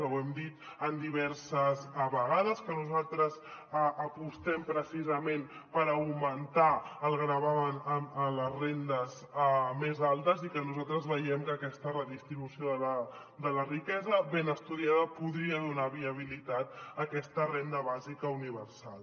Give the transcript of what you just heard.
ho hem dit diverses vegades que nosaltres apostem precisament per augmentar el gravamen a les rendes més altes i que nosaltres veiem que aquesta redistribució de la riquesa ben estudiada podria donar viabilitat a aquesta renda bàsica uni versal